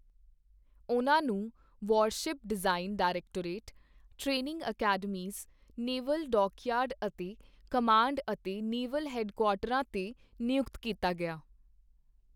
ਉਨ੍ਹਾਂ ਨੂੰ warship design directorate, training academies, naval dockyard ਅਤੇ ਕਮਾਂਡ ਅਤੇ ਨੇਵਲ ਹੈੱਡਕੁਆਰਟਰਾਂ ਤੇ ਨਿਯੁਕਤ ਕੀਤਾ ਗਿਆ।